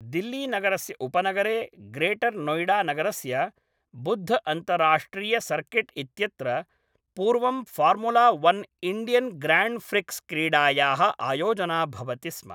दिल्लीनगरस्य उपनगरे ग्रेटर् नोयिडानगरस्य बुद्ध्अन्ताराष्ट्रियसर्किट् इत्यत्र, पूर्वं Formula One Indian Grand Prix क्रीडायाः आयोजना भवति स्म।